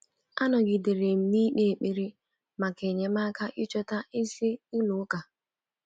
Anọgidere m na-ikpe ekpere maka enyemaka ichọta ezi ụlọ ụka.